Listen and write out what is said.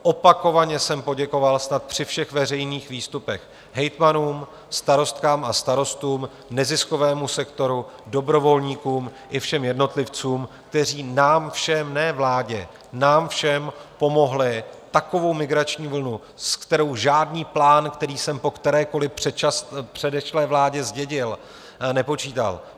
Opakovaně jsem poděkoval snad při všech veřejných výstupech hejtmanům, starostkám a starostům, neziskovému sektoru, dobrovolníkům i všem jednotlivcům, kteří nám všem, ne vládě, nám všem pomohli takovou migrační vlnu, se kterou žádný plán, který jsem po kterékoli předešlé vládě zdědil, nepočítal.